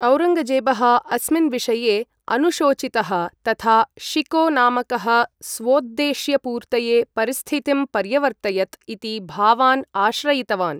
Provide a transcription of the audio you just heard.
औरङ्गजेबः अस्मिन् विषये अनुशोचितः, तथा शिको नामकः स्वोद्देश्यपूर्तये परिस्थितिं पर्यवर्तयत् इति भावान् आश्रयितवान्।